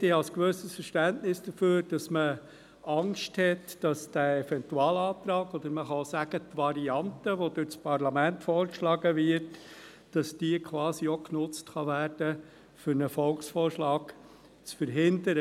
Ich habe ein gewisses Verständnis dafür, dass man Angst davor hat, dass der Eventualantrag oder die vom Parlament vorgeschlagene Variante genutzt werden kann, um einen Volksvorschlag zu verhindern.